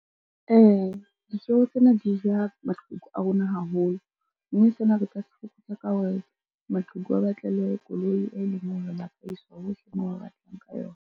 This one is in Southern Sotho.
Ee, ditjeho tsena di ja maqheku a rona haholo, mme sena re ka se fokotsa ka hore maqheku a batlelwe koloi e leng hore ba ka iswa hohle moo ba batlang ka yona.